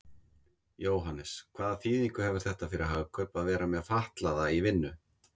Jóhannes: Hvaða þýðingu hefur þetta fyrir Hagkaup að vera með fatlaða í vinnu?